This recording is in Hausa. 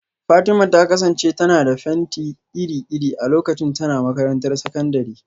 Fatima ta kasance tana da fenti iri-iri a lokacin tana makarantar sakandare